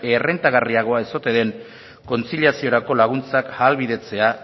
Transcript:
errentagarriagoa ez ote den kontziliaziorako laguntzak ahalbidetzea